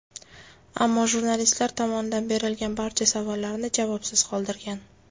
Ammo jurnalistlar tomonidan berilgan barcha savollarni javobsiz qoldirgan.